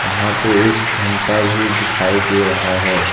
वहां पे एक घंटा भी दिखाई दे रहा है।